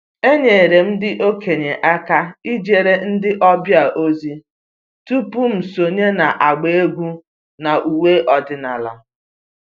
Enyere m ndị okenye aka ijere ndị ọbịa ozi tupu m sonye n’agba egwú n’ụwe ọdịnala